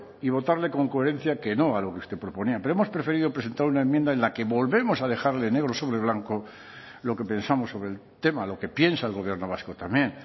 y votarle con coherencia que no a lo que usted proponía pero hemos preferido presentar una enmienda en la que volvemos a dejarle negro sobre blanco lo que pensamos sobre el tema lo que piensa el gobierno vasco también